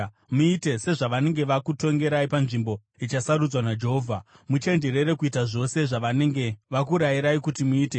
Muite sezvavanenge vakutongerai panzvimbo ichasarudzwa naJehovha. Muchenjerere kuita zvose zvavanenge vakurayirai kuti muite.